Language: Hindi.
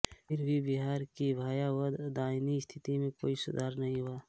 फिर भी बिहार की भयावह दयनीय स्थिति में कोई सुधार नहीं हुआ